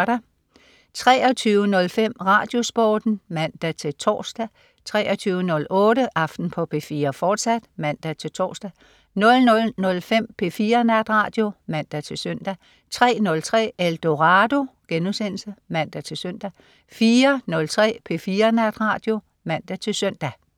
23.05 RadioSporten (man-tors) 23.08 Aften på P4, fortsat (man-tors) 00.05 P4 Natradio (man-søn) 03.03 Eldorado* (man-søn) 04.03 P4 Natradio (man-søn)